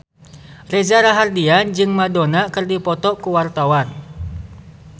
Reza Rahardian jeung Madonna keur dipoto ku wartawan